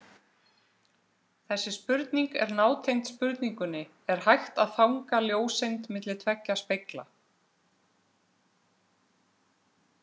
Þessi spurning er nátengd spurningunni Er hægt að fanga ljóseind milli tveggja spegla?